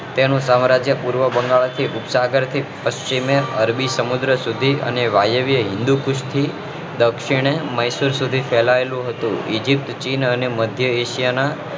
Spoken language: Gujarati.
તેનું સામ્રાજ્ય પૂર્વ બંગાળ થી સાગર થી પશ્ચિમેં અરબી સમુદ્ર સુધી અને વાયવ્ય હિંદુ પુષ્ટિ દક્ષિણ એ મૈસુર સુધી ફેલાયેલું હતું બીજી પ્રાચીન અને મધ્ય એશિયા ના